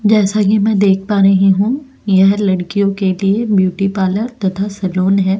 जैसा कि मैं देख पा रहे हैं यह लड़कियों के लिए ब्यूटी पार्लर तथान है।